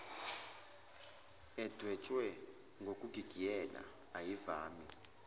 edwetshwe ngokugigiyela ayivami